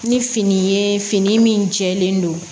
Ni fini ye fini min jɛlen don